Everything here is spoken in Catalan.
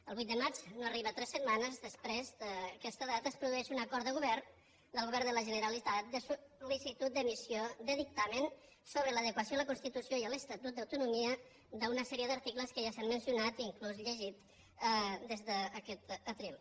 el vuit de maig no arriba a tres setmanes després d’aquesta data es produeix un acord de govern del govern de la generalitat de sold’emissió de dictamen sobre l’adequació a la constitució i a l’estatut d’autonomia d’una sèrie d’articles que ja s’han mencionat inclús llegit des d’aquest faristol